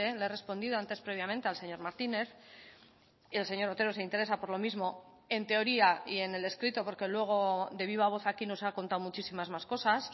le he respondido antes previamente al señor martínez y el señor otero se interesa por lo mismo en teoría y en el escrito porque luego de viva voz aquí nos ha contado muchísimas más cosas